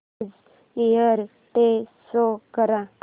new Year Day show कर